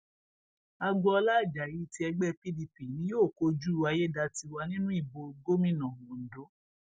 agboola ajayi ti ẹgbẹ pdp ni yóò kojú ayédátiwa nínú ìbò gómìnà ondo